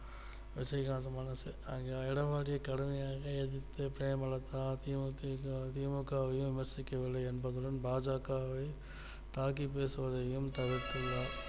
விஜயகாந்த் மனசு அந்த எடப்பாடியை கடுமையாக எதிர்த்த பிரேமலதா தி மு க வையும் விமர்சிக்கவில்லை என்று உடன் பா ஜ க வை தாக்கி பேசுவதையும் தவிர்த்து உள்ளார்